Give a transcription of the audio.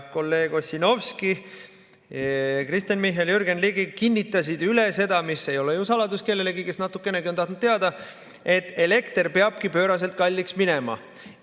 Kolleeg Ossinovski, Kristen Michal ja Jürgen Ligi kinnitasid üle seda, mis ei ole ju saladus kellelegi, kes natukenegi on teada tahtnud: elekter peabki pööraselt kalliks minema.